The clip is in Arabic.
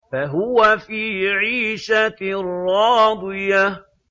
فَهُوَ فِي عِيشَةٍ رَّاضِيَةٍ